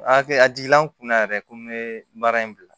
A hakili a jiginna n kun na yɛrɛ ko n be baara in bila